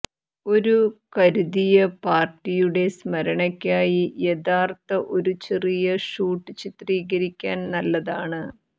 ഒരു കരുതിയ പാർടിയുടെ സ്മരണയ്ക്കായി യഥാർത്ഥ ഒരു ചെറിയ ഷൂട്ട് ചിത്രീകരിക്കാൻ നല്ലതാണ്